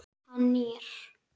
Hann nýr.